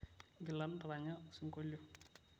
ngila ntaranya osinkolio